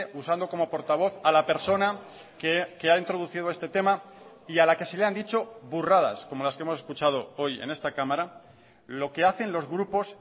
usando como portavoz a la persona que ha introducido este tema y a la que se le han dicho burradas como las que hemos escuchado hoy en esta cámara lo que hacen los grupos